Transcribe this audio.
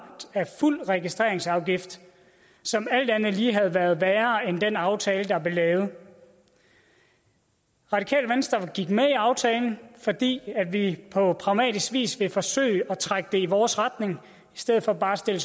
af fuld registreringsafgift som alt andet lige havde været værre end den aftale der blev lavet radikale venstre gik med i aftalen fordi vi på pragmatisk vis ville forsøge at trække det i vores retning i stedet for bare at stille